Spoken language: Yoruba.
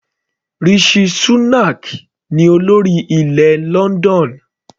Rishi Shunak ní olórí ilẹ̀ London.